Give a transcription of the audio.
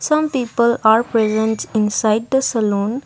some people are presents inside the saloon.